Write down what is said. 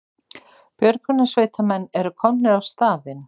Björgunarsveitarmenn eru komnir á staðinn